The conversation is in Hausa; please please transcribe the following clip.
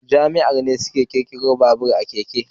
Jamusawa ne suka ƙirƙiro babur da keken.